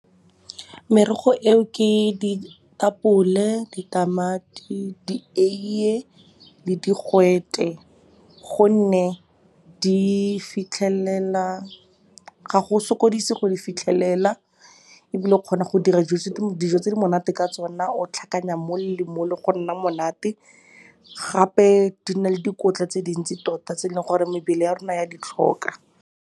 Merogo eo ke ditapole, ditamati, dieie le digwete gonne ga go sokodise go di fitlhelela ebile o kgona go dira dijo tse di monate ka tsona, o tlhakanya mole le mole go nna monate. Gape di na le dikotla tse dintsi tota tse e leng gore mebele ya rona ya ditlhoka.